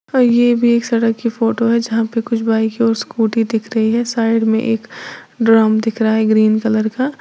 ये भी एक सड़क की फोटो है जहां पे कुछ बाइक और स्कूटी दिख रही है साइड में एक ड्रम दिख रहा है ग्रीन कलर का।